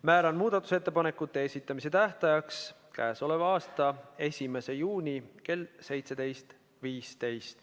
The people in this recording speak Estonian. Määran muudatusettepanekute esitamise tähtajaks 1. juuni kell 17.15.